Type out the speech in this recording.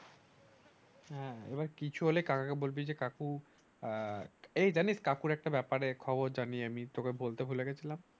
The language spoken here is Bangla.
হ্যাঁ এবার কিছু হলে কাকাকে বলবি যে কাকু আহ এই যানিস কাকুর একটা ব্যাপারে খবর জানি আমি তোকে বলতে ভুলে গেছিলাম